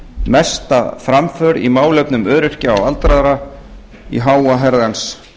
mesta framför í málefnum öryrkja og aldraðra í háa herrans